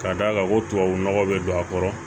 Ka d'a kan ko tubabu nɔgɔ bɛ don a kɔrɔ